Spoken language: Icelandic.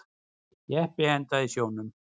Jeppi endaði í sjónum